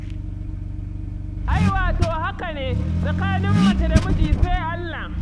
Ai wato haka ne, tsakanin mace da miji sai Allah,